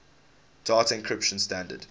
data encryption standard